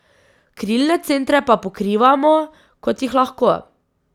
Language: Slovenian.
Krilne centre pa pokrivamo, kot jih lahko.